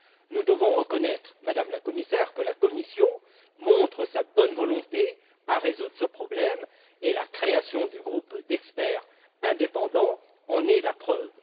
Nous devons reconnaître, Madame la Commissaire, que la Commission fait preuve de bonne volonté pour résoudre ce problème, et la création du groupe d'experts indépendants en est la preuve.